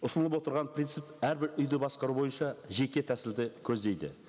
ұсынылып отырған принцип әрбір үйді басқару бойынша жеке тәсілді көздейді